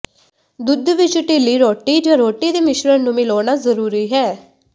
ਦੁੱਧ ਵਿਚ ਢਿੱਲੀ ਰੋਟੀ ਜਾਂ ਰੋਟੀ ਦੇ ਮਿਸ਼ਰਣ ਨੂੰ ਮਿਲਾਉਣਾ ਜ਼ਰੂਰੀ ਹੈ